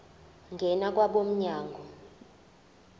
ngena kwabo mnyango